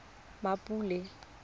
mmapule